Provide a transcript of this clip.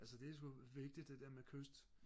altså det er sku vigtigt det der med kyst